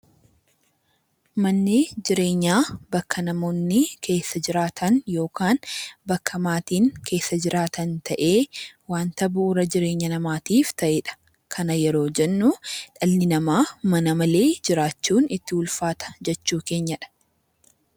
Manni jireenyaa bakka namoonni keessa jiraatan yookaan bakka maatiin keessa jiraatan ta'ee waanta bu'uura jireenya namaatiif ta'eedha. kana yeroo jennu dhalli namaa mana malee itti ulfaata jechuu keenyadha.